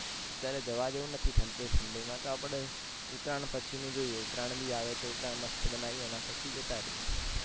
અત્યારે જવા જેવું નથી આટલી ઢંડી માં તો આપણે ઉતરાણ પછી નું જોઈએ, ઉતરાણ બી આવે છે ઉતરાણ મસ્ત બનાઈએ એના પછી જતા રહીએ.